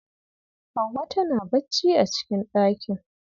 Hauwa tana bacci a cikin ɗakin.